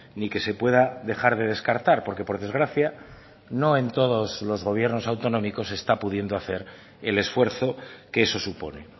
ni que se pueda dejar de descartar porque por desgracia no en todos los gobiernos autonómicos se está pudiendo hacer el esfuerzo que eso supone